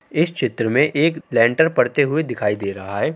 इस चित्र में एक लैन्टर पड़ते हुए दिखाई दे रहा है।